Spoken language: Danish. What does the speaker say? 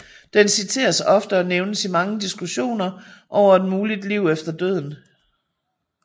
Den citeres ofte og nævnes i mange diskussioner over et muligt liv efter døden